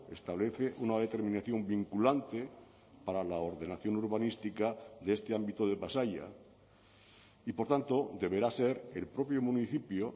establece una determinación vinculante para la ordenación urbanística de este ámbito de pasaia y por tanto deberá ser el propio municipio